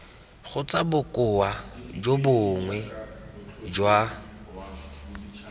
kgotsa bokoa jo bongwe jwa